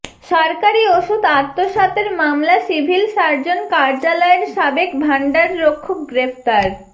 সরকারি ওষুধ আত্মসাতের মামলা সিভিল সার্জন কার্যালয়ের সাবেক ভান্ডাররক্ষক গ্রেপ্তার